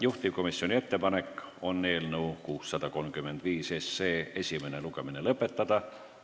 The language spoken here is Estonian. Juhtivkomisjoni ettepanek on eelnõu 635 esimene lugemine lõpetada.